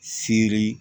Seri